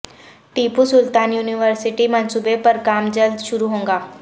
Tipu Sultan university منصوبے پر کام جلد شروع ہوگا